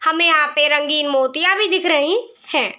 हमें यहाँ पे रंगीन मोतियाँ भी दिख रहीं हैं।